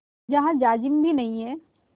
जहाँ जाजिम भी नहीं है